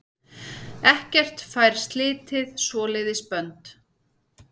Ekkert fær slitið svoleiðis bönd.